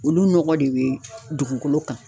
Olu nɔgɔ de bɛ dugukolo kan